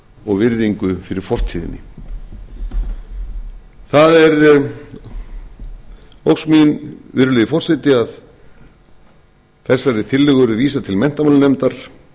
og virðingu fyrir fortíðinni það er ósk mín virðulegi forseti að þessari tillögu verði vísað til menntamálanefndar